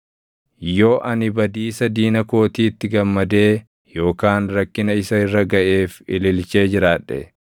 “Yoo ani badiisa diina kootiitti gammadee yookaan rakkina isa irra gaʼeef ililchee jiraadhe,